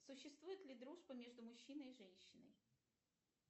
существует ли дружба между мужчиной и женщиной